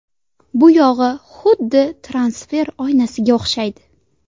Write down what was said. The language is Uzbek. Buyog‘i xuddi transfer oynasiga o‘xshaydi.